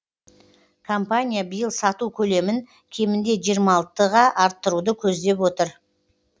компания биыл сату көлемін кемінде жиырма алтыға арттыруды көздеп отыр